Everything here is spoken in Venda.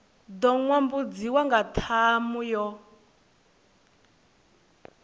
ḓo nyambudziwa nga ṱhamu yo